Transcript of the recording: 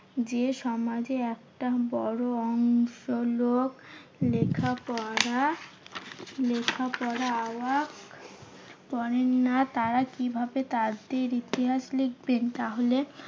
যে সমাজের একটা বড় অংশ লোক লেখাপড়া লেখাপড়া করেন না। তারা কিভাবে তাদের ইতিহাস লিখবেন? তাহলে